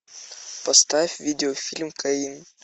поставь видеофильм каин